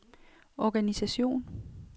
organisation